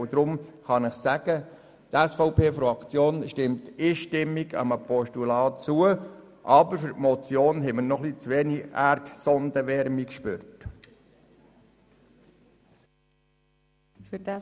Deshalb kann ich Ihnen sagen, dass die SVP-Fraktion einstimmig einem Postulat zustimmt, weil sie für die Motion noch etwas zu wenig Erdsondenwärme gespürt hat.